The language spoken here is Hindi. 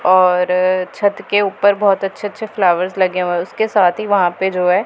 और छत के ऊपर बहोत अच्छे अच्छे फ्लावर्स लगे हुए उसके साथ ही वहां पे जो है।